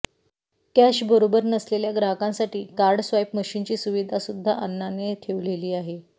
cash बरोबर नसलेल्या ग्राहकांसाठी कार्ड स्वाईप मशीनची सुविधा सुद्धा अन्नाने ठेवलेली आहे